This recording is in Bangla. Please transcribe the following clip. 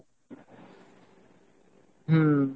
হম